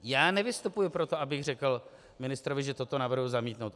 Já nevystupuji proto, abych řekl ministrovi, že toto navrhuji zamítnout.